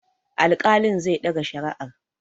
Alƙalin zai ɗaga shari'ar.